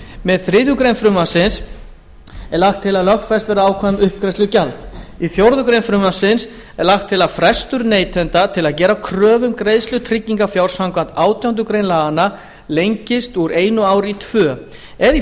með þriðju greinar frumvarpsins er lagt til að lögfest verði ákvæði um uppgreiðslugjald í fjórða grein frumvarpsins er lagt til að frestur neytanda til að gera kröfu um greiðslu tryggingarfjár samkvæmt átjándu grein laganna lengist úr einu ári í tvö eða í